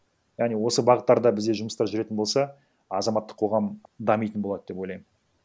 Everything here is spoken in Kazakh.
яғни осы бағыттарда бізде жұмыстар жүретін болса азаматтық қоғам дамитын болады деп ойлаймын